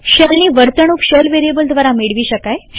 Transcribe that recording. શેલની વર્તણુક shell variable દ્વારા મેળવી શકાય છે